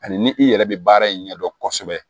Ani ni i yɛrɛ be baara in ɲɛdɔn kosɛbɛ